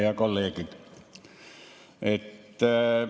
Head kolleegid!